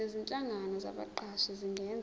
nezinhlangano zabaqashi zingenza